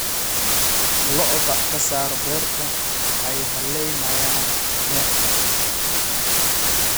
Lo'da ka saar beerta waxaay haleynayan bertaa